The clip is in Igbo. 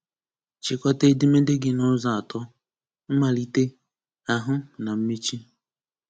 Chịkọta edemede gị n'ụzọ atọ: Mmalite, Ahụ na mmechi